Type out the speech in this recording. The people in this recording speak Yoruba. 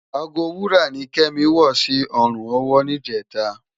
Àgó wúrá ni Kemi wò si òrún òwò nijètá